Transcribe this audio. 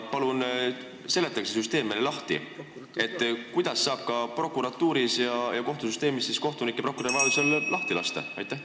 Palun seletage meile lahti, kuidas saab prokuratuuris ja kohtusüsteemis kohtunikke ja prokuröre vajadusel lahti lasta!